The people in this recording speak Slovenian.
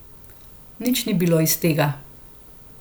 Nič ni bilo iz tega.